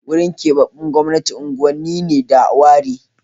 Wurin keɓaɓɓen gwamnati unguwanni ne da ware